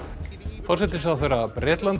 forsætisráðherra Bretlands